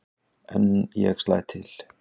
En ég slæ til.